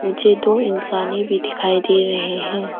मुझे दो इंसाने भी दिखाई दे रहे हैं।